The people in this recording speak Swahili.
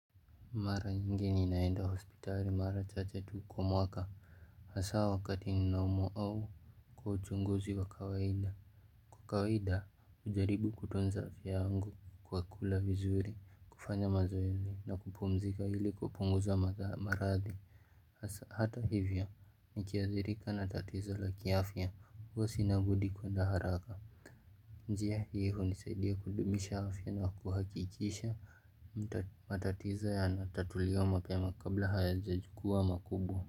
Mara nyingi ninaenda hospitari mara chache tu kwa mwaka Hasa wakati ninaumwa au kwa uchunguzi wa kawaida Kwa kawaida hujaribu kutunza afya yangu kwa kula vizuri kufanya mazoezi na kupumzika ili kupunguza marathi Hata hivyo nikiathirika na tatizo la kiaafya huwa sinabudi kuenda haraka njia hiyo hunisaidia kudumisha afya na kuhakikisha Matatiza ya natatuliwa mapema kabla haya jajukua makubwa.